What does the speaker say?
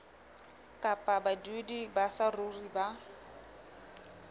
kapa badudi ba saruri ba